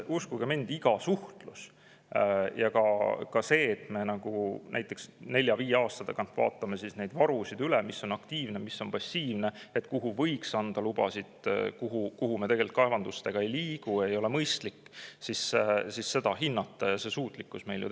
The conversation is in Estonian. Uskuge mind, omavaheliseks suhtluseks ja ka selleks, et me näiteks nelja-viie aasta tagant vaatame varusid üle – mis on aktiivne, mis on passiivne, kuhu võiks anda lubasid, kuhu me tegelikult kaevandustega ei liigu, sest see ei ole mõistlik, hindame seda kõike –, on meil suutlikkus olemas.